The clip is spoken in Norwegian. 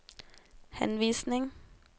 henvisning